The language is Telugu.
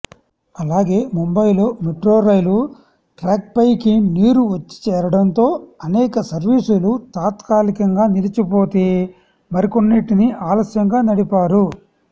అలాగే ముంబయిలో మెట్రోరైలు ట్రాక్పైకి నీరు వచ్చిచేరడంతో అనేక సర్వీసులు తాత్కాలికంగా నిలిచిపోతే మరికొన్నింటిని ఆలశ్యంగా నడిపారు